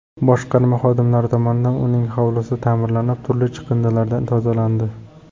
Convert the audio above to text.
Boshqarma xodimlari tomonidan uning hovlisi ta’mirlanib, turli chiqindilardan tozalandi.